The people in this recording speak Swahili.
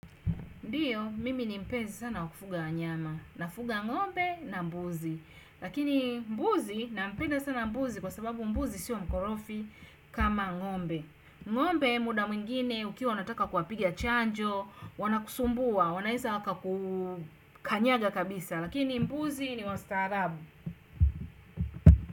Ndio, mimi ni mpenzi sana wa kufuga wanyama. Nafuga ng'ombe na mbuzi. Lakini mbuzi, nampenda sana mbuzi kwa sababu mbuzi sio mkorofi kama ng'ombe. Ng'ombe muda mwingine, ukiwa unataka kuwapiga chanjo, wanakusumbua, wanaeza wakakukanyaga kabisa. Lakini mbuzi ni wa staarabu.